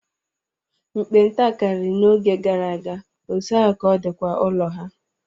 Nkpenta karịri n'oge gara aga, otú ahụ ka ọ dịkwa ụlọ ha.